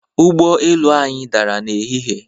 Ụgbo elu anyị dara n'ehihie.